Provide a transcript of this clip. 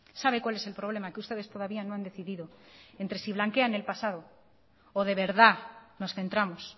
sabe cuál es el problema que ustedes todavía no han decidido entre si blanquean el pasado o de verdad nos centramos